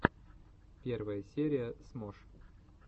первая серия смош